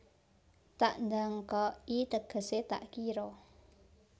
Tak nDangka i tegese tak kiro